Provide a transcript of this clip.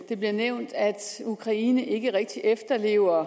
det bliver nævnt at ukraine ikke rigtig efterlever